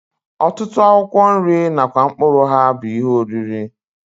Ọtụtụ akwụkwọ nri nakwa mkpụrụ ha bụ ihe oriri